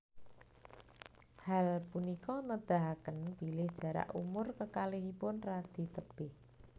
Hal punika nedahaken bilih jarak umur kekalihipun radi tebih